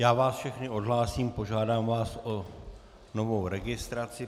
Já vás všechny odhlásím, požádám vás o novou registraci.